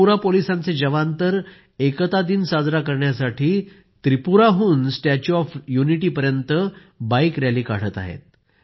त्रिपुरा पोलिसांचे जवान तर एकता दिन साजरा करण्यासाठी त्रिपुराहून स्टॅच्यु ऑफ यूनिटीपर्यंत बाईक रॅली काढत आहेत